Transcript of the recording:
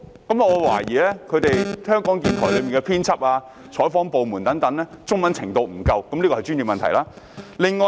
我懷疑港台的編輯及採訪部門的員工中文程度不足，這是專業問題。